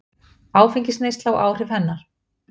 Áfengisneysla og áhrif hennar.